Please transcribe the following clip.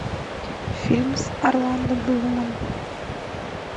фильм с орландо блумом